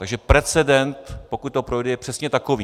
Takže precedent, pokud to projde, je přesně takový.